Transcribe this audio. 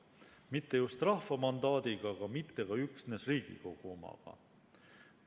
Mitte just rahva mandaadiga, aga mitte ka üksnes riigikogu omaga.